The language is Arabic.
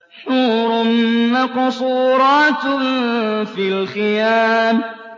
حُورٌ مَّقْصُورَاتٌ فِي الْخِيَامِ